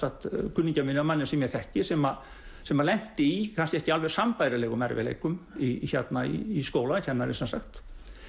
kunningja mínum manni sem ég þekki sem sem lenti í kannski ekki alveg sambærilegum erfiðleikum í í skóla kennari sem sagt